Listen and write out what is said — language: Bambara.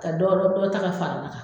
Ka dɔ dɔ ta ka fara ne kan